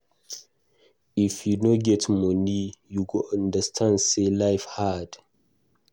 If you no get money, you go understand sey life hard.